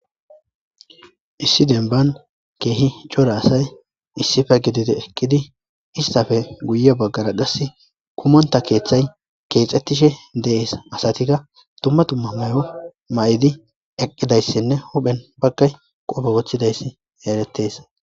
Issi denban keehi cora asay issife gididi eqqidi istafe guye baggara gassi kumonta keethay keexxettishe dees asatikka tumma tumma mayo ma'idi eqqidayssinne huphen pakay qofe wothidayssi eeretes